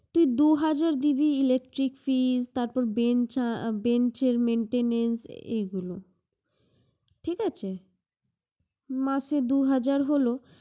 কি দুই হাজার দিবি electric bill, তারপর bench এর maintanece এগুলো। মাসে দুই হাজার হলো